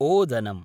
ओदनम्